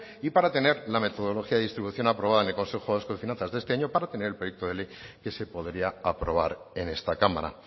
y para tener la metodología distribución aprobada en el consejo vasco de finanzas de este año para tener el proyecto de ley que se podría aprobar en esta cámara